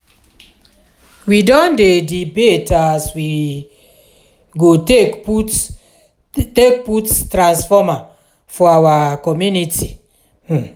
we don dey debate as we um go take put take put transformer for our community. um